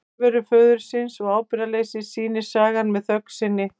Fjarveru föðurins og ábyrgðarleysi sýnir sagan með þögn sinni.